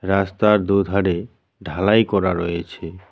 রাস্তার দু'ধারে ঢালাই করা রয়েছে।